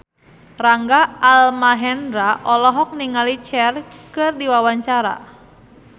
Rangga Almahendra olohok ningali Cher keur diwawancara